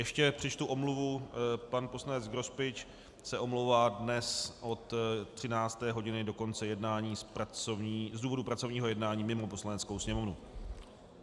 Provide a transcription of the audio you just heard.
Ještě přečtu omluvu - pan poslanec Grospič se omlouvá dnes od 13. hodiny do konce jednání z důvodu pracovního jednání mimo Poslaneckou sněmovnu.